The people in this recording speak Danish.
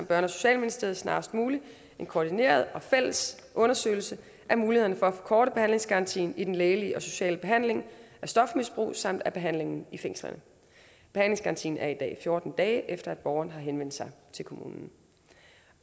børne og socialministeriet snarest muligt en koordineret og fælles undersøgelse af mulighederne for at forkorte behandlingsgarantien i den lægelige og sociale behandling af stofmisbrug samt behandlingen i fængslerne behandlingsgarantien er i dag fjorten dage efter at borgeren har henvendt sig til kommunen